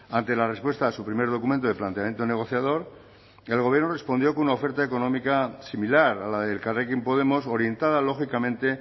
ante la respuesta a su primer documento de planteamiento negociador el gobierno respondió con una oferta económica similar a la de elkarrekin podemos orientada lógicamente